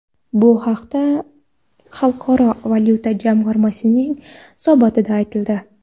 Bu haqda Xalqaro valyuta jamg‘armasining hisobotida aytildi .